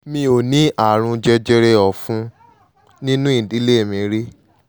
mi ò ní ààrùn jẹjẹrẹ ọ̀fun nínú ìdílé mi rí